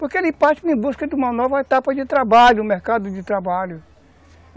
Porque ele parte em busca de uma nova etapa de trabalho, um mercado de trabalho.